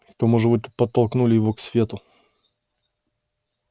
к тому же вы подтолкнули его к свету